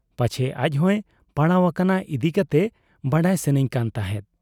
ᱯᱟᱪᱷᱮ ᱟᱡᱦᱚᱸᱭ ᱯᱟᱲᱟᱣ ᱟᱠᱟᱱ ᱤᱫᱤ ᱠᱟᱛᱮ ᱵᱟᱰᱟᱭ ᱥᱟᱹᱱᱟᱹᱧ ᱠᱟᱱ ᱛᱟᱦᱮᱸᱫ ᱾